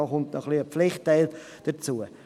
» Damit kommt ein Pflichtteil dazu.